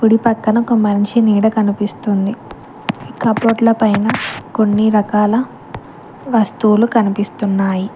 కుడి పక్కన ఒక మనిషి నీడ కనిపిస్తుంది కబోర్డ్ల పైన కొన్ని రకాల వస్తువులు కనిపిస్తున్నాయ్